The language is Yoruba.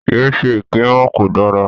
Ye ṣe èké mọ́, kò dára.